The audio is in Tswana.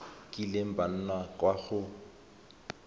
kileng ba nna kwa go